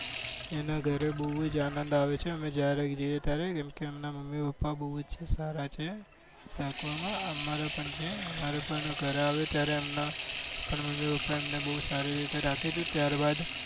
એના ઘરે બહુ જ આનંદ આવે છે અમે જ્યારે જ્યારે જઈએ ત્યારે તેમના મમ્મી પપ્પા બહુ જ સારા છે રાખવામાં અમારું પણ છે અમારું પણ ઘરે આવે ત્યારે એમના મમ્મી પપ્પા અમને બહુ સારી રીતે રાખે છે. ત્યારબાદ